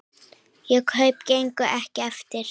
Þau kaup gengu ekki eftir.